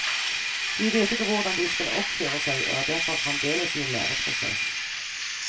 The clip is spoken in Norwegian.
De vet ikke hvordan de skal oppføre seg og er derfor fremdeles i en læreprosess.